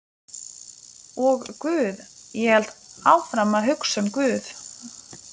Og guð, ég hélt áfram að hugsa um guð.